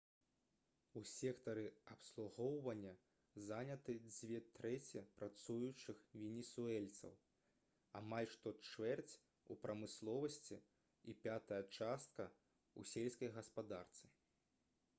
у сектары абслугоўвання заняты дзве трэці працуючых венесуэльцаў амаль што чвэрць у прамысловасці і пятая частка у сельскай гаспадарцы